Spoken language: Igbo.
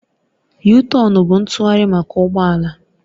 Yutọonu bụ ntụgharị maka ụgbọ ala